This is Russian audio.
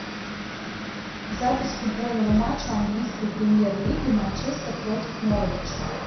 запись футбольного матча английской премьер лиги манчестер против норвич